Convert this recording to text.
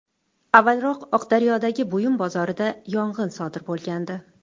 Avvalroq Oqdaryodagi buyum bozorida yong‘in sodir bo‘lgandi .